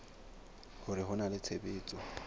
hore ho na le tshebetso